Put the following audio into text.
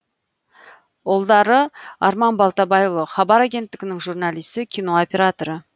ұлдары арман балтабайұлы хабар агенттігінің журналисі кино операторы